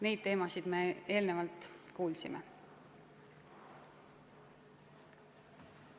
Neid teemasid me enne juba kuulsime.